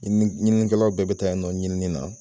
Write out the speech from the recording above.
Ɲininikɛlaw bɛɛ bɛ taa yen nɔ ɲinini na.